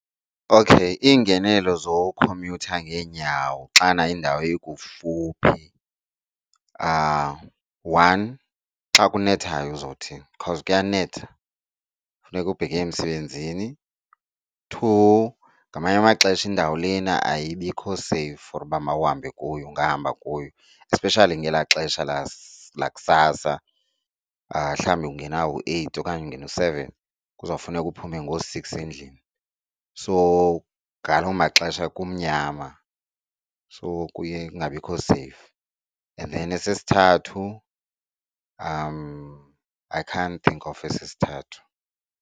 Okay, iingenelelo zokhomyutha ngeenyawo xana iindawo ikufuphi one xa kunethayo uzothini cause kuyanetha kufuneka ubheke emsebenzini. Two ngamanye amaxesha indawo lena ayibikho seyifu for uba mawuhambe kuyo ungahamba kuyo especially ngelaa xesha lakusasa mhlawumbi ungena u-eight okanye ungena u-seven kuzawufuneka uphume ngoo-six endlini. So ngaloo maxesha kumnyama so kuye kungabikho seyifu. And then esesithathu, I can't think of esesithathu.